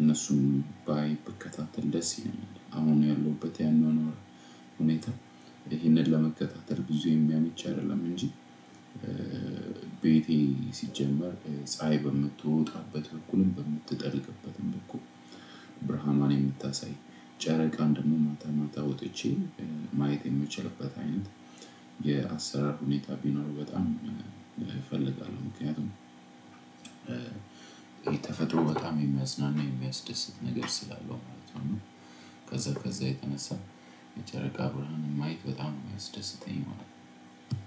እነሱም ባይ ብከታተል ደስ ይለኛል። አሁን ያለሁበት ያናኗር ሁኔታ ይህንን ለመከታተል ብዙ የሚያምች አይደለም እንጂ። ቤቴ ሲጀመር ፀሀይ በምትወጣበት በኩልም በምትጠልቅበትም በኩል ብርሃኗን የምታሳይ ጨረቃም ደግሞ ማታ ማታ ወጥቼ ማየት የምትችልበት አይነት የአሰራር ሁኔታ ቢኖር በጣም እፈልጋለሁ። ምክንያቱም የተፈጥሮ በጣም የሚያዝናና የሚያስደስት ነገር ስላለው ማለት ነው። ከዛ ከዛ የተነሳ የጨረቃ ብርሃን ማየት በጣም የሚያስደስተኝ